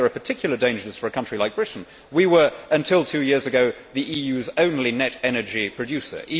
I think there are particular dangers for a country like Britain. We were, until two years ago, the EU's only net energy producer.